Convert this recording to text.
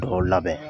Dɔw labɛn